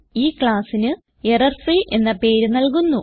ഈ classന് error free എന്ന പേര് നൽകുന്നു